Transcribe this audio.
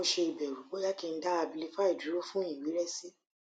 sugbọn mo se ibẹẹru boya ki n da abilify duro fun iwẹrẹsi